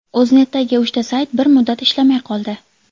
O‘znetdagi uchta sayt bir muddat ishlamay qoldi.